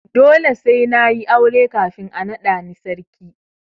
Dole sai na yi aure kafin a naɗa ni sarki.